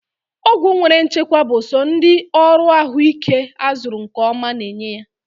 Ọgwụ nwere nchekwa bụ so ndị ọrụ ahụ ike a zuru nke ọma na enye ya